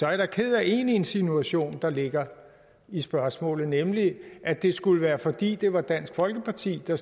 jeg da ked af én insinuation der ligger i spørgsmålet nemlig at det skulle være fordi det var dansk folkeparti der